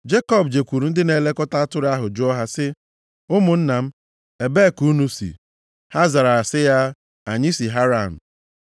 Jekọb jekwuru ndị na-elekọta atụrụ ahụ jụọ ha sị, “Ụmụnna m, ebee ka unu si?” Ha zara sị ya, “Anyị si Haran.”